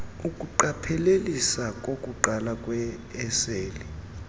ukuqapheliseka kokuqala kweeseli